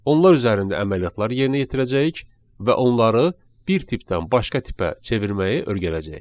Onlar üzərində əməliyyatlar yerinə yetirəcəyik və onları bir tipdən başqa tipə çevirməyi öyrənəcəyik.